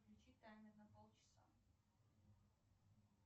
включи таймер на полчаса